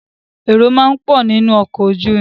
Èrò máa ń pọ̀ nínu ọkọ̀ ojú irin.